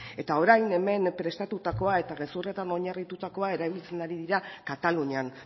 eta orain hemen prestatutakoa eta gezurretan oinarritutakoa erabiltzen ari dira katalunian